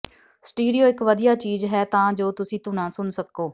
stereo ਇਕ ਵਧੀਆ ਚੀਜ਼ ਹੈ ਤਾਂ ਜੋ ਤੁਸੀਂ ਧੁਨਾਂ ਸੁਣ ਸਕੋ